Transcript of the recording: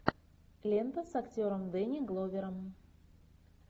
лента с актером дэнни гловером